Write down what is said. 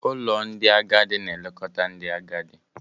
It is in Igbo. Ụlọ ndị agadi na-elekọta ndị agadi.